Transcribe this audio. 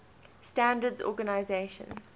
standards organizations